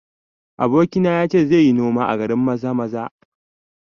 Abokina ya ce zai yi noma a garin Maza-maza